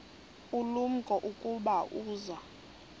ulumko ukuba uza